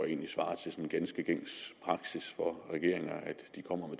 egentlig svarer til ganske gængs praksis for regeringer at de kommer